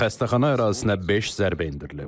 Xəstəxana ərazisinə beş zərbə endirilib.